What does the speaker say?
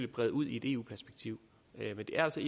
brede ud i et eu perspektiv men det er altså